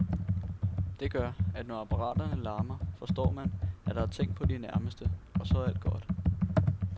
Det gør, at når apparaterne larmer, forstår man, at der er tænkt på de nærmeste, og så er alt godt.